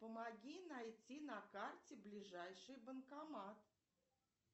помоги найти на карте ближайший банкомат